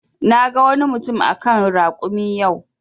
Na gan wani mutum a kan rakumi yau.